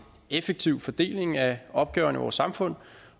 effektiv fordeling af opgaverne i vores samfund